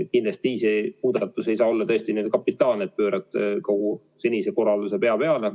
Kindlasti see ei saa tõesti olla kapitaalne, nii et pöörad kogu senise korralduse pea peale.